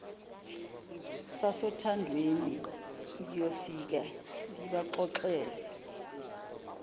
sasothandweni ngiyofike ngibaxoxele